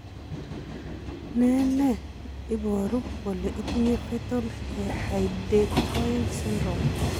Ne ne iporu kole itinye Fetal hydantoin syndrome?